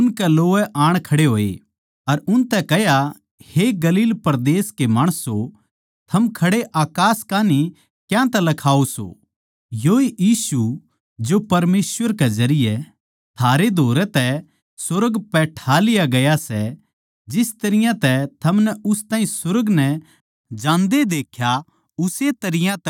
अर उनतै कह्या हे गलील परदेस के माणसों थम खड़े अकास कान्ही क्यांतै लखाओ सो योए यीशु जो परमेसवर के जरिये थारै धोरै तै सुर्ग पै ठा लिया गया सै जिस तरियां तै थमनै उस ताहीं सुर्ग नै जांदे देख्या उस्से तरियां तै वो दुबारा आवैगा